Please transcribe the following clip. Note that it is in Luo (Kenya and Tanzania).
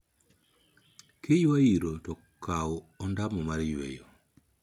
Kiywa iro to kaw ondamo mar weyo.